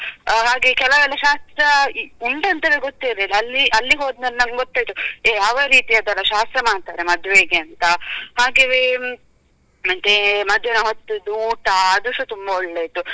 ಹಾಗೆ ಕೆಲವೆಲ್ಲ ಶಾಸ್ತ್ರ ಉಂಟಂತನೇ ಗೋತಿರ್ಲಿಲ್ಲಾ ಅಲ್ಲಿ ಅಲ್ಲಿ ಹೋದ್ಮೇಲೆ ನಮ್ಗೆ ಗೊತ್ತಾಯ್ತು ಯಾವ ರೀತಿಯದೆಲ್ಲಾ ಶಾಸ್ತ್ರ ಮಾಡ್ತಾರೆ ಮದ್ವೆಗೆ ಅಂತ ಹಾಗೇವೆ ಮತ್ತೇ ಮಧ್ಯಾಹ್ನ ಹೊತ್ತಿದ್ದು ಊಟ ಆದುಸಾ ತುಂಬ ಒಳ್ಳೆ ಇತ್ತು.